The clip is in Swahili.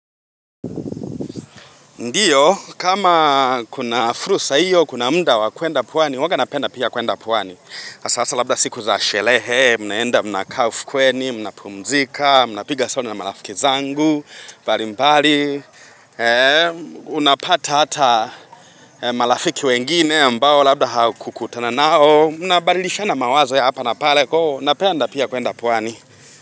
Ndio, kama kuna fursa hiyo, kuna muda wa kuenda pwani, huwaga napenda pia kuenda pwani. Sasa labda siku za sherehe, mnaenda mnakaa ufukweni, mnapumzika, mnapiga stori na marafiki zangu, mbali mbali, unapata hata marafiki wengine ambao labda haukukutana nao, mnabadilishana mawazo ya hapa na pale, kwa hiyo napenda pia kuenda pwani.